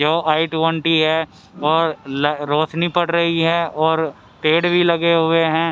जो i twenty है और रोशनी पड़ रही है और पेड़ भी लगे हुए हैं.